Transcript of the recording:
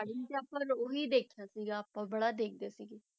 Starting 'ਚ ਆਪਾਂ ਉਹੀ ਦੇਖਿਆ ਸੀਗਾ ਆਪਾਂ ਬੜਾ ਦੇਖਦੇ ਸੀਗੇ।